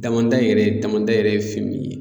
Damanda yɛrɛ damanda yɛrɛ ye fɛn min ye